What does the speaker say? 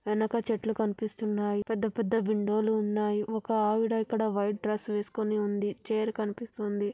వెనక చెట్లు కనిపిస్తున్నాయి. పెద్ద పెద్ద విండో లు ఉన్నాయి. ఒక్క ఆవిడ ఇక్కడ వైట్ డ్రెస్ వేసుకుని ఉంది. చైర్ కనిపిస్తుంది.